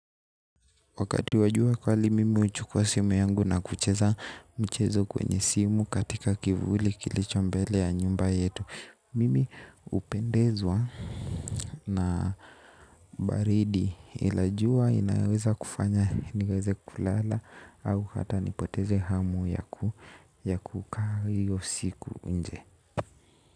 Wakati wajua kali mimi uchukua simu yangu na kucheza mchezo kwenye simu katika kivuli kilicho mbele ya nyumba yetu. Mimi upendezwa na baridi ila jua inaweza kufanya niweze kulala au hata nipoteze hamu ya kuka hiyo siku nje.